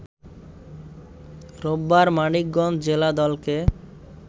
রোববার মানিকগঞ্জ জেলা দলকে